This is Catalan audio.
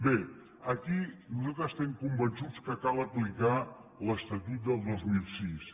bé aquí nosaltres estem convençuts que cal aplicar l’estatut del dos mil sis